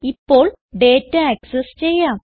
ഇപ്പോൾ data access ചെയ്യാം